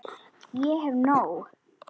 Ég hef nóg.